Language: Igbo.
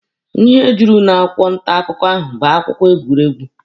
Ihe juru n'akwụkwọ nta akụkọ ahụ bụ akụkọ egwuregwu.